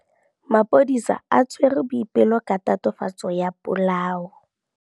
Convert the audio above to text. Maphodisa a tshwere Boipelo ka tatofatsô ya polaô.